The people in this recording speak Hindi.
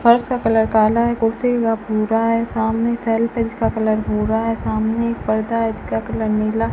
फर्श का कलर काला है कुर्सी का भूरा है सामने का कलर भूरा है सामने एक पर्दा है इसका कलर नीला --